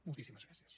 moltíssimes gràcies